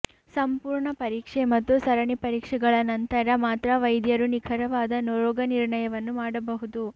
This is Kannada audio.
ಸಂಪೂರ್ಣ ಪರೀಕ್ಷೆ ಮತ್ತು ಸರಣಿ ಪರೀಕ್ಷೆಗಳ ನಂತರ ಮಾತ್ರ ವೈದ್ಯರು ನಿಖರವಾದ ರೋಗನಿರ್ಣಯವನ್ನು ಮಾಡಬಹುದು